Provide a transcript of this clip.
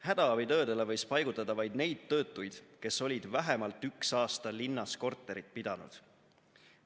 Hädaabitöödele võis paigutada vaid neid töötuid, kes olid vähemalt üks aasta linnas korterit pidanud.